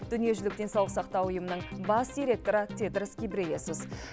дүниежүзілік денсаулық сақтау ұйымының бас директоры тедрос гебрейесус